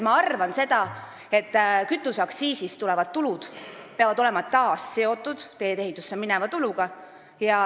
Ma arvan seda, et kütuseaktsiisist tulevad tulud peavad olema taas seotud teedeehitusse mineva kuluga.